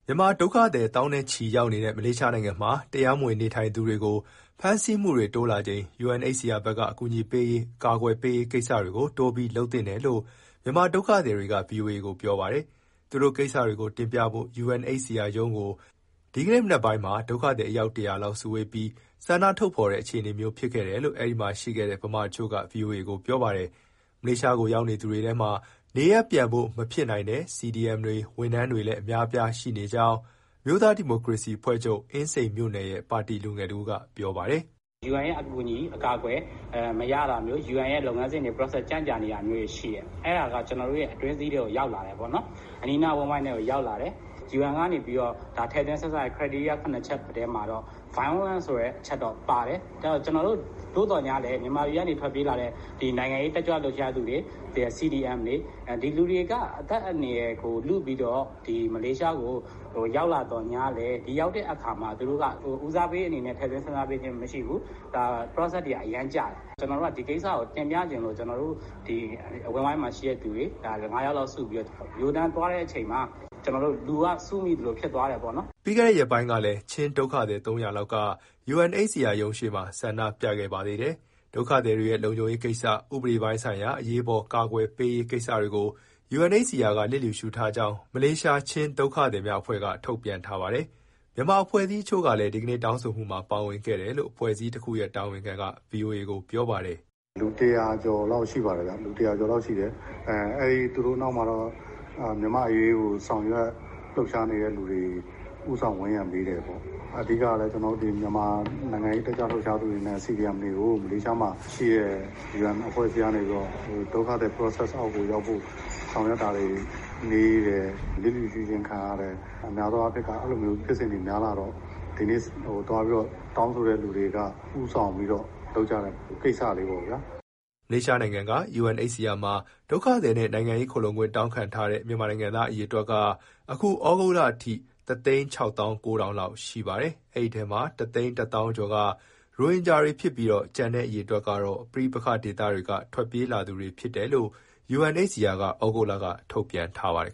မြန်မာဒုက္ခသည် သောင်းနဲ့ချီ ရောက်နေတဲ့ မလေးရှားနိုင်ငံမှာ တရားမဝင် နေထိုင်သူတွေကို ဖမ်းဆီးမှုတွေတိုးလာချိန် UNHCR ဘက်က အကူအညီပေးရေး၊ အကာအကွယ်ပေးရေး ကိစ္စတွေကို တိုးပြီး လုပ်သင့်တယ်လို့ မြန်မာဒုက္ခသည်တွေက ဗွီအိုအေကို ပြောပါတယ်။ သူတို့ကိစ္စတွေကိုတင်ပြဖို့ UNHCR ရုံးကို ဒီနေ့ မနက်ပိုင်းမှာ ဒုက္ခသည် အယောက် ၁၀၀လောက် စုဝေးပြီး ဆန္ဒထုတ်ဖော်တဲ့ အခြေအနေမျိုး ဖြစ်ခဲ့တယ်လို့ အဲဒီမှာ ရှိခဲ့တဲ့ မြန်မာတချို့က ဗွီအိုအေကို ပြောပါတယ်။ မလေးရှားကို ရောက်လာသူတွေထဲမှာ နေရပ်ပြန်ဖို့ မဖြစ်နိုင်တဲ့ CDM တွေ၊ ဝန်ထမ်းတွေလည်း အများအပြား ရှိနေကြောင်း အမျိုးသားဒီမိုကရေစီ အဖွဲ့ချုပ်၊ အင်းစိန်မြို့နယ်ရဲ့ ပါတီလူငယ်တဦးက ပြောပါတယ်။ " UN ရဲ့အကူအညီမရတာမျိုး၊ UN ရဲ့လုပ်ငန်းစဉ် ကြန့်ကြာတာမျိုးတွေ ရှိတယ်။ အဲဒါက ကျနော်တို့ရဲ့ အတွင်းစည်းထဲကို ရောက်လာတယ်ပေါ့၊ အနီးအနား အဝန်းအဝိုင်းထဲကို ရောက်လာတယ်။ UN ကထည့်သွင်းစဉ်းစားတဲ့ အချက်၇ချက်ထဲမှာ Voilence ဆိုတဲ့ အချက်တော့ပါတယ်။ သို့သော်ငြားလည်း မြန်မာပြည်က ထွက်ပြေးလာတဲ့ နိုင်ငံရေး တက်ကြွလှုပ်ရှားသူတွေ၊ CDMတွေ ဒီလူတွေက အသက်အန္တရာယ်ကို လုပြီးတော့ မလေးရှားကို ရောက်လာသော်ငြားလည်း ဦးစားပေးအနေနဲ့ ထည့်သွင်းစဉ်းစားပေးခြင်း မရှိဘူး။ process တွေက အရမ်းကြာတယ်။ ဒီကိစ္စကို တင်ပြချင်လို့ ကျနော်တို့ အဝန်းအဝိုင်းမှာရှိတဲ့သူတွေ ငါးယောက်လောက်စုပြီး ရိုးရိုးတန်းတန်း သွားတဲ့အချိန်မှာ လူက စုမိသလို ဖြစ်သွားတယ်ပေါ့နော်။" ပြီးခဲ့တဲ့ရက်ပိုင်းကလည်း ချင်းဒုက္ခသည် ၃၀၀လောက်က UNHCR ရုံးရှေ့မှာ ဆန္ဒပြခဲ့ပါသေးတယ်။ ဒုက္ခသည်တွေရဲ့ လုံခြုံရေးကိစ္စ၊ ဥပဒေပိုင်းဆိုင်ရာ အရေးပေါ် အကာအကွယ်ပေးရေး ကိစ္စတွေကို UNHCR က လျစ်လျူရှုခဲ့ကြောင်း မလေးရှား ချင်းဒုက္ခသည်များအဖွဲ့က ထုတ်ပြန်ထားပါတယ်။ မြန်မာအဖွဲ့အစည်းတချို့လည်း ဒီကနေ့ တောင်းဆိုမှုမှာ ပါဝင်ခဲ့တယ်လို့ အဖွဲ့အစည်းတခုရဲ့ တာဝန်ခံက ဗွီအိုအေကို ပြောပါတယ်။ " လူ ၁၀၀ကျော်လောက် ရှိပါတယ်ဗျ၊ သူတို့နောက်မှာတော့ မြန်မာ့အရေးကို ဆောင်ရွက် လှုပ်ရှားနေသူတွေ ဦးဆောင်ဝန်းရံပေးတယ်ပေါ့။ အဓိကတော့ မြန်မာနိုင်ငံရေး တက်ကြွလှုပ်ရှားသူတွေနဲ့ CDMတွေကို မလေးရှားမှာရှိတဲ့ UN အဖွဲ့အစည်းကနေပြီးတော့ ဒုက္ခသည် process အောက်ကိုရောက်ဖို့ ဆောင်ရွက်တာတွေနှေးတယ်၊ လျစ်လျူရှုခြင်း ခံရတယ်၊ အဲလိုဖြစ်စဉ်တွေ များလာတော့ ဒီနေ့သွားပြီး တောင်းဆိုတဲ့သူတွေက ဦးဆောင်ပြီးလုပ်ကြတဲ့ ကိစ္စလေးပေါ့ဗျာ။" မလေးရှားနိုင်ငံက UNHCR မှာ ဒုက္ခသည်နဲ့ နိုင်ငံရေး ခိုလှုံခွင့် တောင်းခံထားတဲ့ မြန်မာနိုင်ငံသား အရေအတွက်က အခု ဩဂုတ်လအထိ ၁၆၉,၀၀၀ လောက်ရှိပါတယ်။ ဒီထဲမှာ ၁၁၀,၀၀၀ ကျော်က ရိုဟင်ဂျာတွေဖြစ်ပြီး၊ ကျန်တဲ့အရေအတွက်ကတော့ ပဋိပက္ခဒေသက ထွက်ပြေးလာသူတွေ ဖြစ်တယ်လို့ UNHCR က သြဂုတ်လက ထုတ်ပြန်ထားပါတယ်